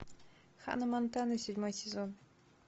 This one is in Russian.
ханна монтана седьмой сезон